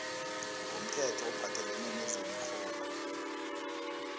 womthetho ophathelene nezemirholo